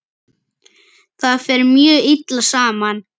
Það fer mjög illa saman.